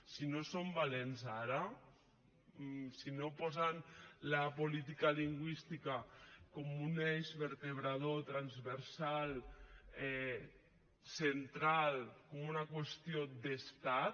si no som valents ara si no posen la política lingüística com a un eix vertebrador transversal central com una qüestió d’estat